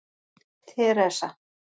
Teresa